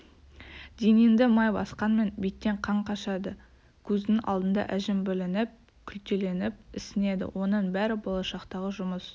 денеңді май басқанмен беттен қан қашады көздің алдында әжім білініп күлтеленіп ісінеді оның бәрі болашақтағы жұмыс